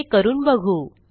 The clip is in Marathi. हे करून बघू